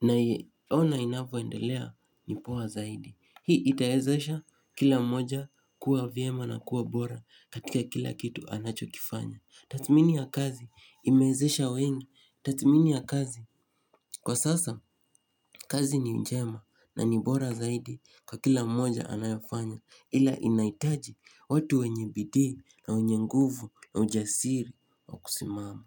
naiona inavoendelea ni poa zaidi. Hii itaezesha kila mmoja kua vyema na kua bora katika kila kitu anachokifanya. Tathmini ya kazi imewezesha wengi. Tathmini ya kazi kwa sasa kazi ni njema na ni bora zaidi kwa kila mmoja anayofanya. Ila inahitaji watu wenye bidii na wenye nguvu na ujasiri wa kusimama.